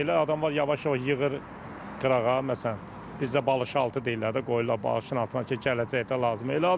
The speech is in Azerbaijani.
Elə adam var yavaş-yavaş yığır qırağa, məsələn, bizdə balışaltı deyirlər də, qoyurlar balışın altına ki, gələcəkdə lazım olar.